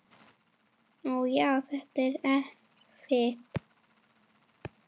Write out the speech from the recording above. Ó, já, þetta er erfitt.